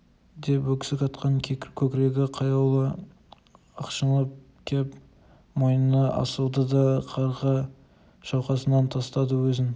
деп өксік атқан көкірегі қаяулы ышқынып кеп мойнына асылды да қарға шалқасынан тастады өзін